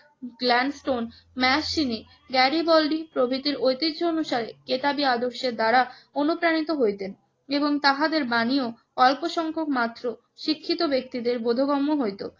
Gladstone Mazzini, Garibaldi প্রভৃতির ঐতিহ্য অনুসারে কেতাবি আদর্শের দ্বারা অনুপ্রাণিত হইতেন এবং তাহাদের বাণীও অল্পসংখ্যক মাত্র শিক্ষিত ব্যক্তিদের বোধগম্য হইত।